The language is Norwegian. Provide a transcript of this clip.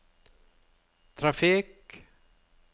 trafikk